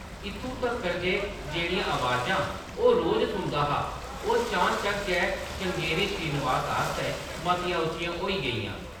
इत्थुं तक्कर जे जेह्‌‌ड़ियां अवाजां ओह्‌‌ रोज सुनदा हा, ओह्‌‌ चान-चक्क गै श्रृंगेरी श्रीनिवास आस्तै मतियां उच्चियां होई गेइयां ।